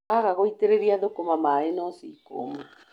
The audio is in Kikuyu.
Waga gũitĩrĩria thũkũma maĩ no cikũma.